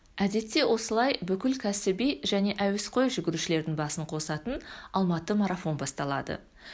әдетте осылай бүкіл кәсіби және әуесқой жүгірушілердің басын қосатын алматы марафон басталады